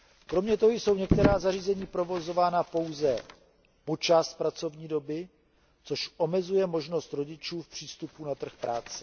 Kromě toho jsou některá zařízení provozována pouze po část pracovní doby, což omezuje možnosti rodičů v přístupu na trh práce.